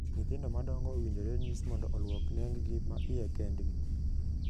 Nyithindo madongo owinjore nyis mondo oluok nenggi ma iye kendgi.